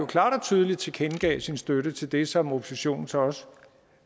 klart og tydeligt tilkendegav sin støtte til det som oppositionen så også